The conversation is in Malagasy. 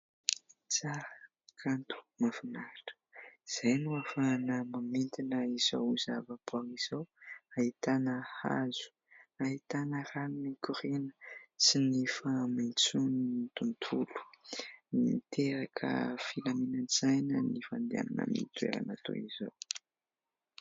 tsara kanto mafinahitra izay no afahana mamindina izao ho zava-poanga izao hahitana hazo hahitana rano mikorina sy ny fahamentson'ny tontolo miteraka filaminan-tsaina ny fandehanana mitoerana toy izao